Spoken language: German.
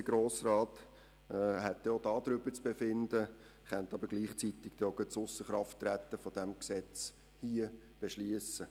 Der Grosse Rat hätte auch darüber zu befinden und könnte gleichzeitig die Ausserkraftsetzung dieses Gesetzes beschliessen.